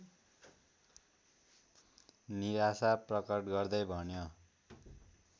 निराशा प्रकट गर्दै भन्यो